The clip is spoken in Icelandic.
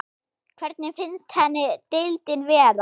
Hvernig finnst henni deildin vera?